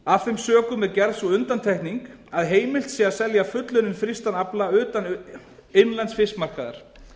af þeim sökum er gerð sú undantekning að heimilt sé að selja fullunninn frystan afla utan innlends fiskmarkaðar